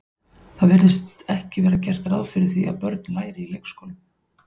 Það virðist ekki vera gert ráð fyrir að börn læri í leikskólum.